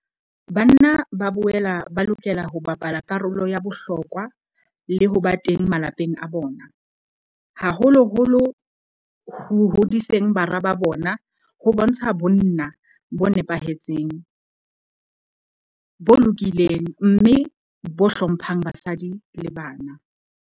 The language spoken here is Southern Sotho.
Banna ba boela ba lokela ho bapala karolo ya bohlokwa le ho ba teng malapeng a bona, haholoholo ho hodiseng bara ba bona ho bontsha bonna bo nepahetseng, bo lokileng mme bo hlo mphang basadi le bana.